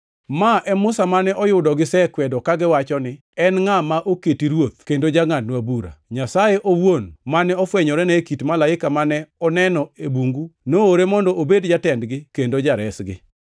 “Ma e Musa mane oyudo gisekwedo kagiwacho ni, ‘En ngʼa ma oketi ruoth kendo jangʼadnwa bura?’ Nyasaye owuon mane ofwenyorene e kit malaika mane oneno e bungu noore mondo obed jatendgi kendo jaresgi.